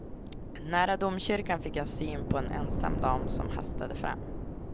Nära domkyrkan fick jag syn på en ensam dam som hastade fram.